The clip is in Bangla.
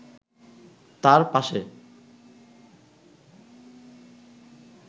তার পাশে